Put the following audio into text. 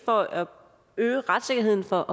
for at øge retssikkerheden for